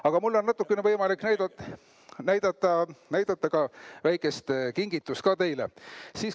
Aga mul on võimalik natuke näidata väikest kingitust ka teile.